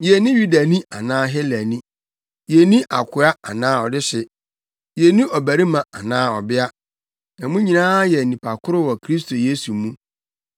Yenni Yudani anaa Helani, yenni akoa anaa ɔdehye, yenni ɔbarima anaa ɔbea, na mo nyinaa yɛ nnipa koro wɔ Kristo Yesu mu.